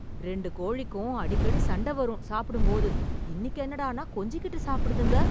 ரெண்டு கோழிக்கும் அடிக்கடி சண்டை வரும் சாப்பிடும் போது , இன்னைக்கு என்னடானா கொஞ்சிகிட்டு சாப்பிடுதுங்க.